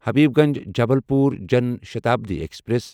Habibganj Jabalpur Jan Shatabdi express